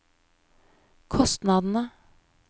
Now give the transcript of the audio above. kostnadene